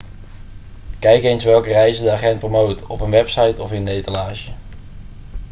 kijk eens welke reizen de agent promoot op een website of in de etalage